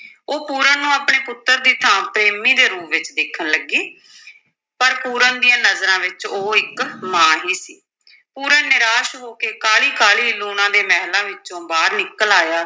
ਉਹ ਪੂਰਨ ਨੂੰ ਆਪਣੇ ਪੁੱਤਰ ਦੀ ਥਾਂ ਪ੍ਰੇਮੀ ਦੇ ਰੂਪ ਵਿੱਚ ਦੇਖਣ ਲੱਗੀ ਪਰ ਪੂਰਨ ਦੀਆਂ ਨਜ਼ਰਾਂ ਵਿੱਚ ਉਹ ਇੱਕ ਮਾਂ ਸੀ, ਪੂਰਨ ਨਿਰਾਸ਼ ਹੋ ਕੇ ਕਾਹਲੀ ਕਾਹਲੀ ਲੂਣਾ ਦੇ ਮਹਿਲਾਂ ਵਿੱਚੋਂ ਨਿਕਲ ਆਇਆ।